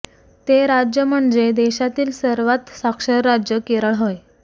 ते राज्य म्हणजे देशातील सर्वात साक्षर राज्य केरळ होय